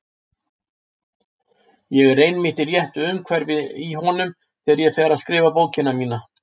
Ég er einmitt í réttu umhverfi í honum þegar ég fer að skrifa bókina mína.